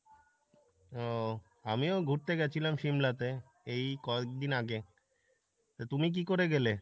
ও আমিও ঘুরতে গেছিলাম সিমলা তে এই কয়েকদিন আগে তা তুমি কী করে গেলে?